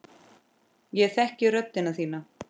Ég þekki rödd þína.